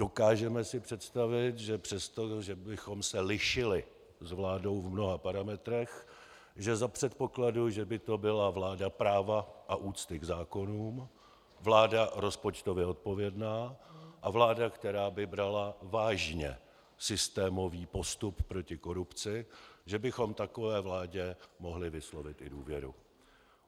Dokážeme si představit, že přesto, že bychom se lišili s vládou v mnoha parametrech, že za předpokladu, že by to byla vláda práva a úcty k zákonům, vláda rozpočtově odpovědná a vláda, která by brala vážně systémový postup proti korupci, že bychom takové vládě mohli vyslovit i důvěru.